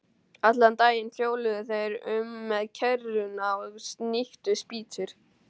Allan daginn hjóluðu þeir um með kerruna og sníktu spýtur.